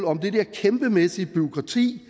om det kæmpemæssige bureaukrati